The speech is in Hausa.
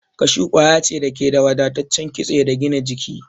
Kashu kwaya ce da ke da wadataccen kitse da gina jiki.